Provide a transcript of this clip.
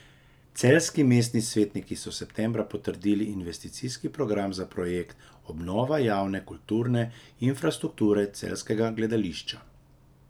Celjski mestni svetniki so septembra potrdili investicijski program za projekt Obnova javne kulturne infrastrukture celjskega gledališča.